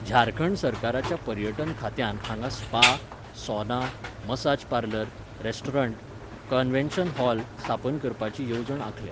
झारखंड सरकाराच्या पर्यटन खात्यान हांगा spa, sauna, massage parlour, restaurant, convention hall स्थापन करपाची येवजण आंखल्या.